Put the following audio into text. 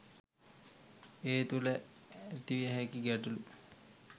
ඒ තුළ ඇතිවිය හැකි ගැටලූ